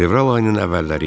Fevral ayının əvvəlləri idi.